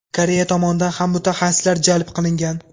Koreya tomonidan ham mutaxassislar jalb qilingan.